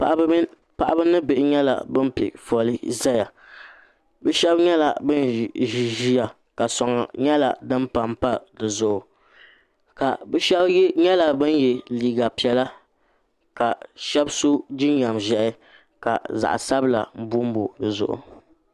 paɣaba ni bihi nyɛla bin piɛ foli ʒɛya bi shab nyɛla bin ʒi ʒiya ka soŋ nyɛla din panpa dizuɣu ka bi shab nyɛla bin yɛ liiga piɛla ka bi shab so jinjɛm ʒiɛhi ka zaɣ sabila bonbo dizuɣu